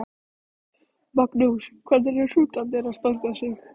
Magnús: Hvernig eru hrútarnir að standa sig?